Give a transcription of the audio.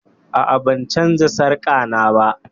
A'a, ban canza sarka na ba